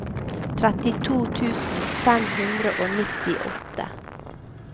trettito tusen fem hundre og nittiåtte